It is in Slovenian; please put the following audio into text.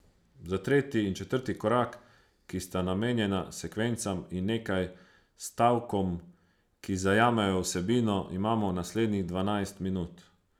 Za tretji in četrti korak, ki sta namenjena sekvencam in nekaj stavkom, ki zajamejo vsebino, imamo naslednjih dvanajst minut.